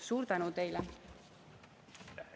Suur tänu teile!